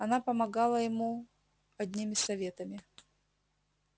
она помогала ему одними советами